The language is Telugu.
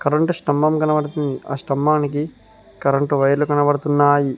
కరెంటు స్థంభం కనబడుతుంది ఆ స్థంభానికి కరెంటు వైర్లు కనబడుతున్నాయి.